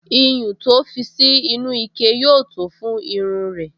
Iyùn to fi sí inú ike yóò tó fún irun rẹ̀